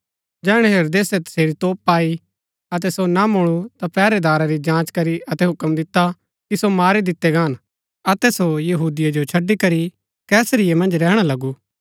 जैहणै हेरोदेसे तसेरी तोप पाई अतै सो ना मुळू ता पैहरैदारै री जाँच करी अतै हूक्म दिता कि सो मारी दितै गान अतै सो यहूदिया जो छड़ी करी कैसरिया मन्ज रैहणा लगु